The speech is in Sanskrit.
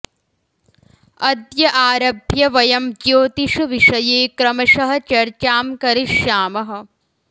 अद्य आरभ्य वयं ज्योतिष विषये क्रमशः चर्चां करिष्यामः